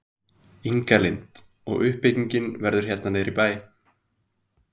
Inga Lind: Og uppbyggingin verður hérna niður í bæ?